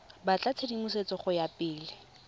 batla tshedimosetso go ya pele